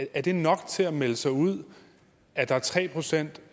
er det nok til at melde sig ud at der er tre procent